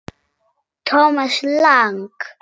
Thomas Lang